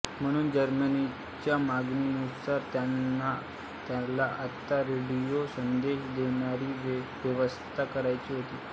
म्हणून जर्मनांच्या मागणीनुसार त्याला आता रेडियो संदेश देणारी व्यवस्था करायची होती